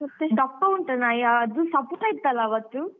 ದಪ್ಪ ಉಂಟ ನಾಯಿ ಅದು ಸಪುರ ಇತ್ತಲ್ಲ ಅವತ್ತು?